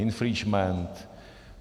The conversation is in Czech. Infringement.